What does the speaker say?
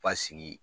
Basigi